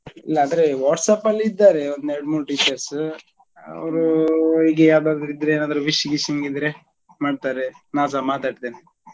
ಇಲ್ಲ ಅಂದ್ರೆ whatsapp ಅಲ್ಲಿ ಇದ್ದಾರೆ ಒಂದು ಎರಡ್ ಮೂರ್ teachers ಅವ್ರು ಹೀಗೆ ಯಾವ್ದಾದ್ರು ಇದ್ರೆ ಏನಾದ್ರೂ wishing gishing ಇದ್ರೆ ಮಾಡ್ತಾರೆ ನಾನ್ಸ ಮಾತಾಡ್ತೇನೆ.